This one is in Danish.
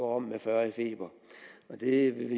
om med fyrre i feber det vil